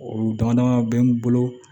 O dama dama bɛ n bolo